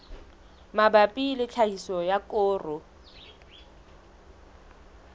mabapi le tlhahiso ya koro